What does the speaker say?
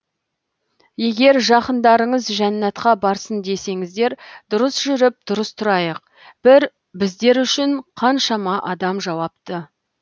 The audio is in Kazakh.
егер жақындарыңыз жәннәтка барсын десеңіздер дұрыс жүріп дұрыс тұрайық бір біздер үшін каншама адам жауапты